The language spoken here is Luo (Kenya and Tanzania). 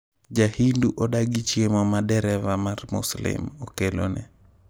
Ja-Hindu odagi chiemo ma 'dereva mar Muslim' okelone.